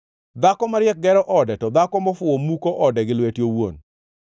Dhako mariek gero ode, to dhako mofuwo muko ode gi lwete owuon.